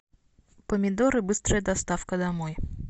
помидоры быстрая доставка домой